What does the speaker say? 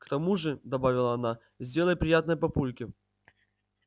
к тому же добавила она сделай приятное папульке